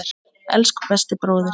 Elsku besti bróðir.